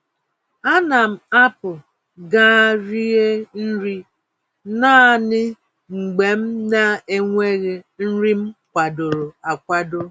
Ánám apụ gaa rie nri naanị mgbe m naenweghị nri m kwadoro akwado